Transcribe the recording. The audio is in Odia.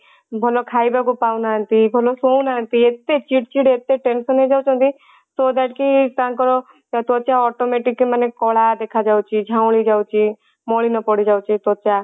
ଭଲ ଖାଇବାକୁ ପାଉନାହାନ୍ତି ଭଲ ଶୋଉନାହାନ୍ତି ଏତେ ଚିଡ ଚିଡ ଏତେ tension ହେଇଯାଉଛନ୍ତି so that କି ତାଙ୍କର ତ୍ଵଚା automatic ମାନେ କଳା ଦେଖା ଯାଉଅଛି ଝାଉଁଳି ଯାଉଛି ମଳିନ ପଡି ଯାଉଛି ତ୍ଵଚା